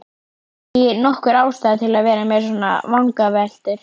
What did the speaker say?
Ekki nokkur ástæða til að vera með svona vangaveltur.